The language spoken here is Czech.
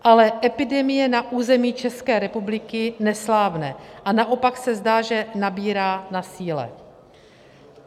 Ale epidemie na území České republiky neslábne a naopak se zdá, že nabírá na síle.